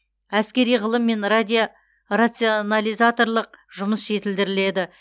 әскери ғылым мен рационализаторлық жұмыс жетілдіріледі